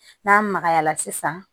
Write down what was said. N'a magayala sisan